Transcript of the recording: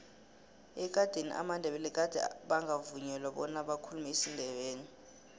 ekadeni amandebele gade bangavunyelwa bona bakhulume isindebele